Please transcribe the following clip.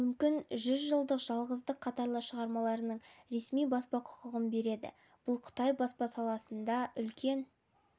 мүмкін жүз жылдық жалғыздық қатарлы шығармаларының ресми баспа құқығын береді бұл қытай баспа саласында үлкен